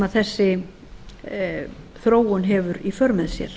þessi þróun hefur í för með sér